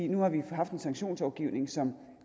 nu har vi haft en sanktionslovgivning som